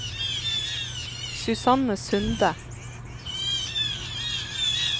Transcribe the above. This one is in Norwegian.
Susanne Sunde